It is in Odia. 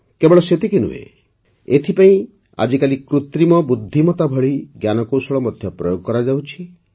କେବଳ ସେତିକି ନୁହେଁ ଏଥିପାଇଁ ଆଜିକାଲି କୃତ୍ରିମ ବୁଦ୍ଧିମତା ଭଳି ଜ୍ଞାନକୌଶଳ ମଧ୍ୟ ପ୍ରୟୋଗ କରାଯାଉଛି